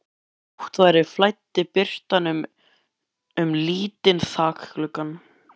Þótt nótt væri flæddi birtan inn um lítinn þakgluggann.